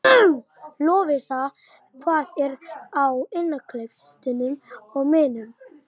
Lovísa, hvað er á innkaupalistanum mínum?